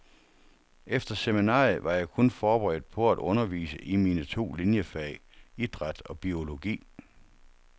Efter seminariet var jeg kun forberedt på at undervise i mine to liniefag, idræt og biologi.